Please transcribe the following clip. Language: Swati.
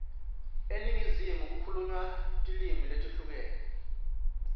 eningizimu kukhulunywa tilimi letehlukene